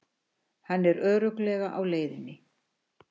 Hann er örugglega á leiðinni.